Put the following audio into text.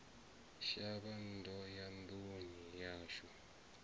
shavha ndo ya nduni yashu